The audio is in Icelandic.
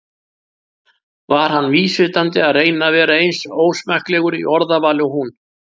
var hann vísvitandi að reyna að vera eins ósmekklegur í orðavali og hún?